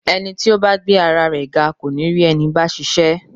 Ẹni tí ó bá gbé ara rẹ ga kò ní rí ẹni báa ṣiṣẹ́.